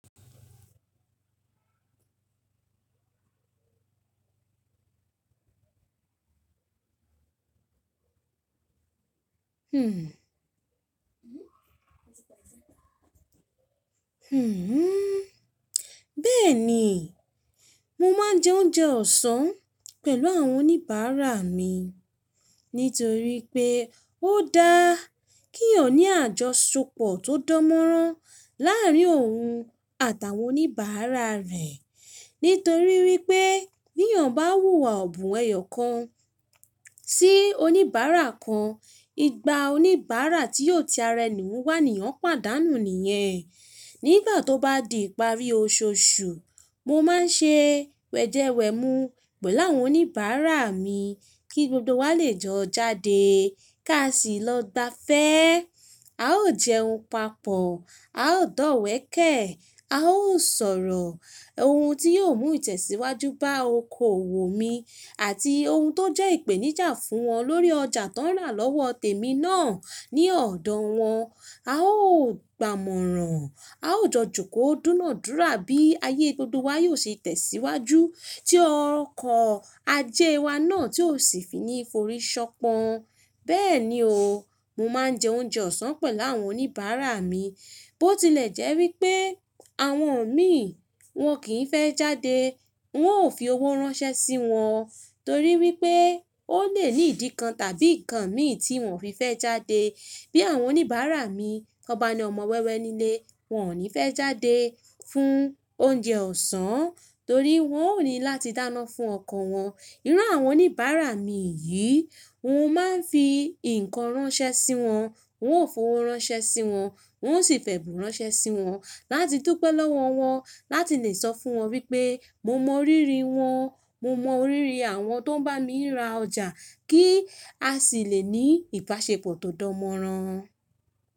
Hmm. Hmm. Bẹ́ẹ̀ ni, mo máa ń jẹ oúnjẹ ọ̀sán pẹ̀lú àwọn oníbàárà mi nítorí pé ó dáa kí eeyan ní àjọṣepọ̀ tó dán mọ́rán láàárín òun àtàwọn oníbàárà rẹ. Nítorí wípé bí èèyàn bá wù iwà ọ̀bùn ẹ̀yọ̀ kan sí oníbàárà kan, ìgbà oníbàárà tí yóò ti ara ẹni wu wa, èèyàn pàdánù nìyẹn. Nígbà tó bá di ìparí oṣooṣù, mo máa ń ṣe wẹ̀jẹwẹ̀mu pẹ̀lú àwọn oníbàárà mi kí gbogbo wa lè jọ jáde ká sì lọ gbafẹ́. A ó jẹun papọ̀, a ó dọ̀wẹ̀kẹ̀, a ó sọ̀rọ̀ ohun tí yóò mú ìtẹ̀síwájú bá oko wò mí àti ohun tó jẹ́ ìpèníjà fún wọn lórí ọjà tó ń ràn lọ́wọ́ tèmi náà ní ọ̀dọ̀ wọn. A ó gbàmọ̀ràn, a ó jọ jùkòó dúnadúrà bí ayé gbogbo wa yóò ṣe tẹ̀síwájú tí ọkọ̀ ajé wa náà tí ò sì fi ní forí ṣọpọn. Bẹ́ẹ̀ ni o, mo máa ń jẹ oúnjẹ ọ̀sán pẹ̀lú àwọn oníbàárà mi. Bó tilẹ̀ jẹ́ wípé àwọn mi wọ́n kì í fẹ́ jáde, wọn ò fi owó ránṣẹ́ sí wọn torí wípé ó lè ní ìdí kan tàbí nǹkan mí ì tí wọn ò fi fẹ́ jáde. Bí àwọn oníbàárà mi tọ́ ba ni ọmọ wẹ́wẹ́ nílé wọn ò ní fẹ́ jáde fún oúnjẹ ọ̀sán torí wọn ò ní láti dáná fún ọkọ wọn. Irú àwọn oníbàárà mi yìí, n ó máa ń fi nnkan ránṣẹ́ sí wọn, n ó fowó ránṣẹ́ sí wọn, n ó sì fẹ̀bùn ránṣẹ́ sí wọn láti dúpẹ́ lọ́wọ́ wọn, láti lè sọ fún wọn wípé mo mọ ríri wọn, mo mọ ríri àwọn tó ń bá mi ra ọjà kí a sì lè ní ìbáṣepọ̀ tó dán mọ́rán.